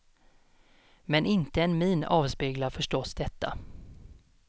Men inte en min avspeglar förstås detta.